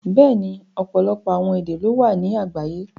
Bẹ́ẹ̀ni, ọpọlọpọ awọn èdè ló wà ni àgbàyé.